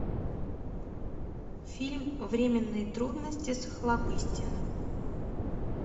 фильм временные трудности с охлобыстиным